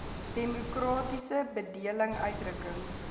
demokratiese bedeling uitdrukking